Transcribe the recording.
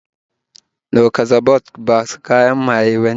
Lucozade Boost ba kayan maye bane